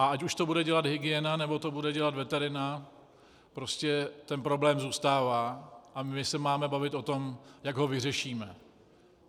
A ať už to bude dělat hygiena, nebo to bude dělat veterina, jistě ten problém zůstává a my se máme bavit o tom, jak ho vyřešíme.